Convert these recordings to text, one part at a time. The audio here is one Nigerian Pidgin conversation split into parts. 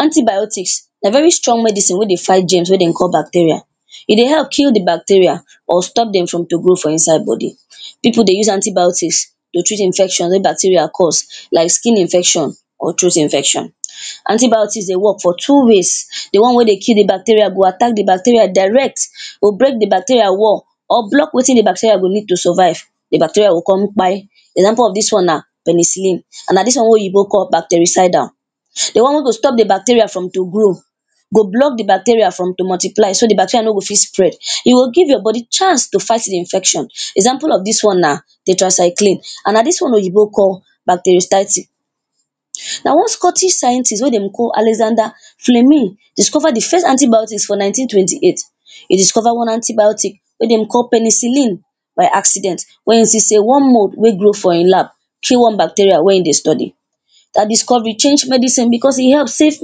antibiotics, na very strong medicine wey dey fight germs wey dem call bacteria. e dey help kill the bacteria, or stop dem from to grow for inside body. pipu dey use antibiotics, to treat infection wey bacteria cause, like skin infection, or throat infection. antibiotics dey work for two ways, the one wey dey kill the bacteria go attack the bacteria direct, go break the bacteria wall, or block wetin the bacteria go need to survive the bacteria go con kpai. example of dis one na penicillin, and na dis one wey oyibo call bactericidal the one wey go stop the bacteria from to grow, go block the bacteria from to multiply, so dat the bacteria no go fit spread, e go give your body chance to fight the infection example of dis one na: tetracycline and na dis one oyibo call, bactericytil na one scottish scientist wey den dey call alexander fleming, discover the first antibiotics for nineteen twenty eight, e discover one antibiotic wey dem call penicillin by accident. when e see say one mold wey grow for in lab, kill one bacteria wey in dey study, dat discovery change medicine because e help save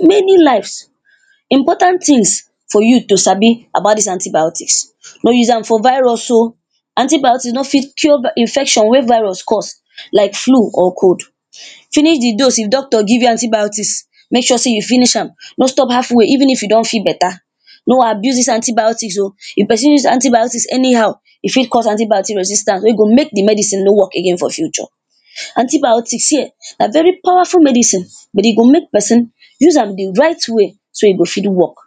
many lives. important tins for you to sabi about dis antibiotics, no use am for virus oh, antibiotics no fit cure bac, infection wey virus cause like flu or cold. finish the dose if doctor give you antibiotics, mek sure say you finish am no stop halfway even if you don feel better, no abuse dis antibiotics oh, if person use antibiotics anyhow e fit cause anti-bacti resistan, wey go mek the medicine no work again for future. antibiotics see eh na very powerful medicine, but e go mek person use am the right way so e go fit works